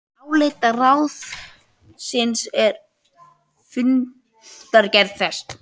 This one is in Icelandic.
Álit ráðsins er í fundargerð þess